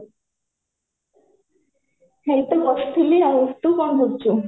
ମୁଁ ତ ବସିଥିଲି ଆଉ ତୁ କ'ଣ କରୁଛୁ?